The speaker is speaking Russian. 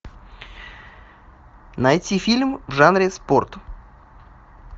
найти фильм в жанре спорт